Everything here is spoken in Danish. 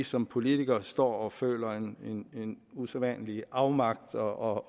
som politiker står og føler man en usædvanlig afmagt og